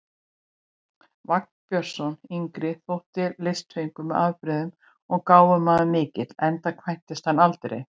Vagn Björnsson yngri þótti listfengur með afbrigðum og gáfumaður mikill, enda kvæntist hann aldrei.